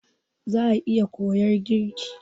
Za'a iya koyar girki.